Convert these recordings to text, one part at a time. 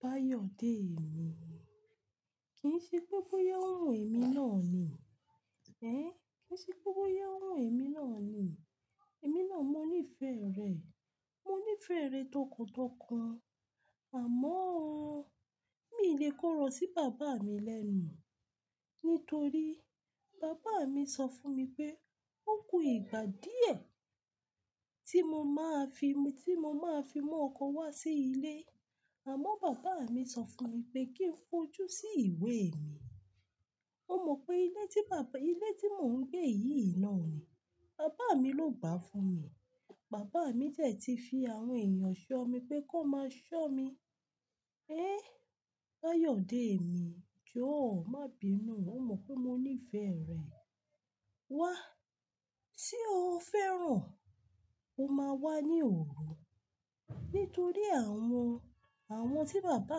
Báyọ̀dé mi, kì í ṣe pé bóyá ó wùn èmi náà ni. Ẹ̀n, kì í ṣe pé bóyá ó wùn èmi náà ni. Èmi náà mọ níí fẹ́ rẹ̀. Mo níí fẹ́ rẹ̀ tọkàntọkàn. Àmọ́ o, mi lè kọ ọ̀rọ̀ sí bàbá mi lẹ́nu. Nítorí bàbá mi sọ fún mi pé ó kú ìgbà díẹ̀ tí mo máa fi, tí mo máa fi mú ọkọ wá sí ilé. Àmọ́ bàbá mi sọ fún mi pé kí n fojú sí ìwé mi. O mọ̀ pé ilé tí bàbá, ilé tí mò ń gbé yìí náà ni bàbá mi ló gbà fún mi. Bàbá mi dẹ̀ ti fi àwọn èèyàn ṣọ́ mi pé kó máa ṣọ́ mi. Ẹ̀, Báyọ̀dé mi, jọ̀ọ́ má bi inú. O mọ̀ pé mo níí fẹ́ rẹ̀. Wá, tí o fẹ́ràn, o máa wá ní òru. Nítorí àwọn, àwọn tí bàbá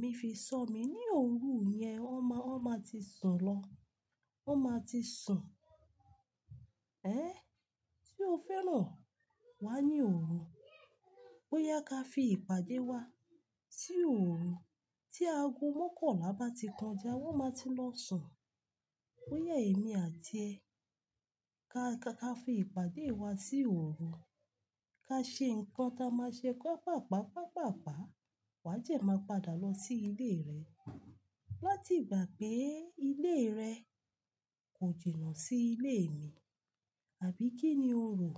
mi fi ṣọ́ mi ní òru yẹn, wọ́n máa, wọ́n máa ti sùn lọ. Wọ́n máa ti sùn. Ẹ̀n, tí o fẹ́ràn, wá ní òru. Bóyá ká fi ìpàdé wa sí òru. Tí aago mókànlá bá ti kọjá, wọ́n máa ti lọ sùn. Bóyá èmi àti ẹ́ ká, ká fi ìpàdé wa sí òru. Ka ṣe nǹkan ta máa ṣe kó pàpàpá pàpàpá, wà dẹ̀ máa padà lọ sí ilé rẹ. Láti gbà pé ilé rẹ kò jìnà sí ilé mi. Àbí kí ni o rò?